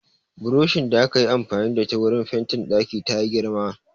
Buroshin da akayi amfani da ita wurin fentin ɗaki tayi girma